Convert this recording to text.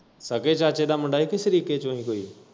ਸਕੇ ਚਾਚੇ ਦਾ ਮੁੰਡਾ ਹੀ ਜਾ ਕੀ ਸਰੀਕੇ ਚੋ ਹੀ ਕੋਈ?